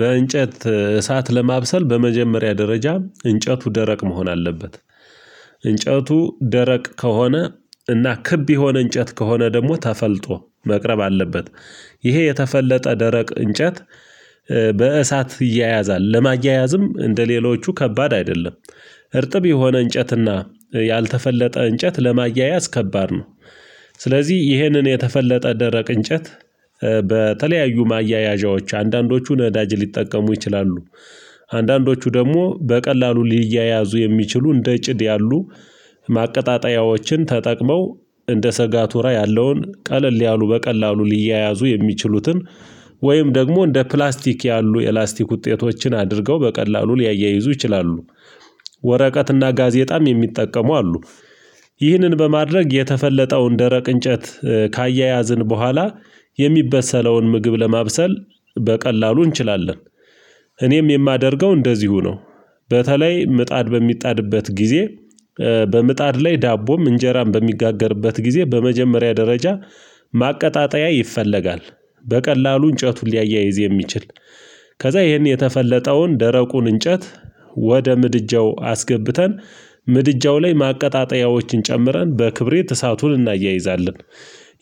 በእንጨት እሳት ለማብሰል በመጀመሪያ ደረጃ እንጨቱ ደረቅ መሆን አለበት። እንጨቱ ደረቅ ከሆነ እና ክብ የሆነ እንጨት ከሆነ ደግሞ ተፈልጦ መቅረብ አለበት። ይሄ የተፈለጠ ደረቅ እንጨት በእሳት ይያያዛል ለማያያዝም እንደሌሎቹ ከባድ አይደለም። እርጥብ የሆነ እንጨትና ያልተፈለጠ እንጨት ለማያያዝ ከባድ ነው። ስለዚህ ይህንን የተፈለጠ ደረቅ እንጨት በተለያዩ ማያያዣዎች አንዳንዶቹን ነዳጅ ሊጠቀሙ ይችላሉ። አንዳንዶቹ ደግሞ በቀላሉ ሊያያዙ የሚችሉ እንደ ጭድ ያሉ ማቀጣጠያዎችን ተጠቅመው እንደ ሰጋ ቱራ ያለውን ቀለል ያሉ በቀላሉ ሊያያዙ የሚችሉትን ወይም ደግሞ እንደ ፕላስቲክ ያሉ የላስቲክ ውጤቶችን አድርገው በቀላሉ ሊያያይዙ ይችላሉ። ወረቀትና ጋዜጣም የሚጠቀሙ አሉ። ይህንን በማድረግ የተፈለጠውን ደረቅ እንጨት ካያያዝን በኋላ የሚበሰለውን ምግብ ለማብሰል በቀላሉ እንችላለን። እኔም የማደርገው እንደዚሁ ነው። በተለይ ምጣድ በሚጣድበት ጊዜ በምጣድ ላይ ዳቦም እንጀራም በሚጋገርበት ጊዜ በመጀመሪያ ደረጃ ማቀጣጠያ ይፈለጋል። በቀላሉ እንጨቱን ሊያያይዝ የሚችል ከዛ ይሄን የተፈለጠውን ደረቁን እንጨት ወደ ምድጃው አስገብተን ምድጃው ላይ ማቀጣጠያዎችን ጨምረን በክብሪት እሳቱን እናያይዛለን።